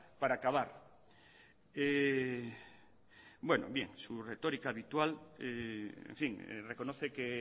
para acabar bueno bien su retórica habitual en fin reconoce que